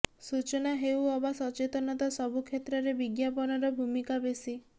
ସୂଚନା ହେଉ ଅବା ସଚେତନତା ସବୁ କ୍ଷେତ୍ରରେ ବିଜ୍ଞାପନର ଭୂମିକା ବେଶି